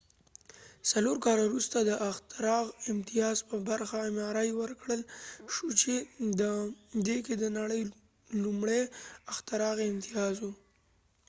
څلور کاله وروسته د اختراع امتیاز ورکړل شو چې د ام آر آیmri په برخه کې د نړی لومړۍ اختراعی امتیاز و